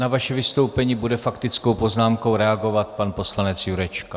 Na vaše vystoupení bude faktickou poznámkou reagovat pan poslanec Jurečka.